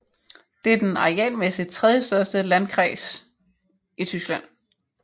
Det er den arealmæssigt tredjestørste landkreis i Tyskland